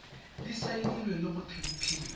di saenilwe le go tempiwa